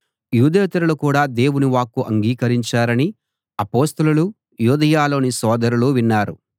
యూదేతరులు కూడా దేవుని వాక్కు అంగీకరించారని అపొస్తలులు యూదయలోని సోదరులు విన్నారు